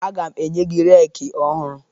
Aga m enye gị reeki ọhụrụ